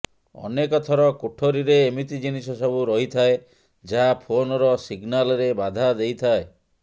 ଅନେକ ଥର କୋଠରୀରେ ଏମିତି ଜିନିଷ ସବୁ ରହିଥାଏ ଯାହା ଫୋନର ସିଗନାଲରେ ବାଧା ଦେଇଥାଏ